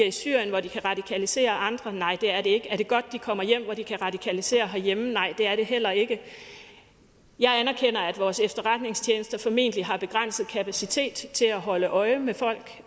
i syrien hvor de kan radikalisere andre nej det er er det godt at de kommer hjem hvor de kan radikalisere herhjemme nej det er det heller ikke jeg anerkender at vores efterretningstjenester formentlig har begrænset kapacitet til at holde øje med folk